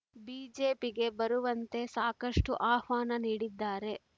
ಬಿಜೆಪಿಗೆ ಬರುವಂತೆ ಸಾಕಷ್ಟುಆಹ್ವಾನ ನೀಡಿದ್ದಾರೆ